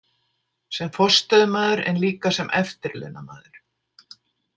Sem forstöðumaður en líka sem eftirlaunamaður.